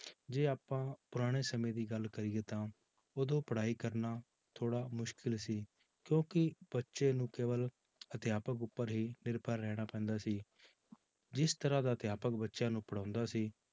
ਜੇ ਆਪਾਂ ਪੁਰਾਣੇ ਸਮੇਂ ਦੀ ਗੱਲ ਕਰੀਏ ਤਾਂ ਉਦੋਂ ਪੜ੍ਹਾਈ ਕਰਨਾ ਥੋੜ੍ਹਾ ਮੁਸ਼ਕਲ ਸੀ ਕਿਉਂਕਿ ਬੱਚੇ ਨੂੰ ਕੇਵਲ ਅਧਿਆਪਕ ਉੱਪਰ ਹੀ ਨਿਰਭਰ ਰਹਿਣਾ ਪੈਂਦਾ ਸੀ ਜਿਸ ਤਰ੍ਹਾਂ ਦਾ ਅਧਿਆਪਕ ਬੱਚਿਆਂ ਨੂੰ ਪੜ੍ਹਾਉਂਦਾ ਸੀ